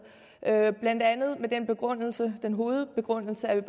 blandt andet med den hovedbegrundelse at vi